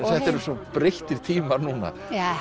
þetta eru svo breyttir tímar núna